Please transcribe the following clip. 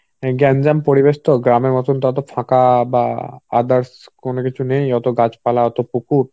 গ্যাঞ্জাম পরিবেশ তো. গ্রামের মতন তত ফাঁকা বাহঃ others কোন কিছু নেই. অত গাছপালা অত পুকুর